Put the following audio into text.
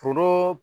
Foro